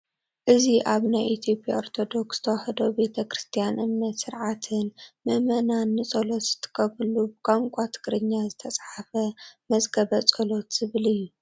እዚ ኣብ ናይ ኢ/ያ ኦርቶዶክ ተዋህዶ ቤተ ክርስትያን እምነትን ስርዓትን ምእመናን ንፀሎት ዝጥቀምሉ ብቋንቋ ትግርኛ ዝተፃሓፈ መዝገበ ፀሎት ዝብል እዩ፡፡